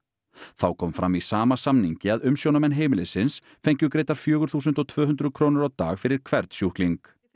þá kom fram í sama samningi að umsjónarmenn heimilisins fengu greiddar fjögur þúsund tvö hundruð krónur á dag fyrir hvern sjúkling